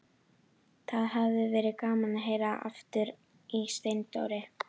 Það hafði verið gaman að heyra aftur í Steindóri.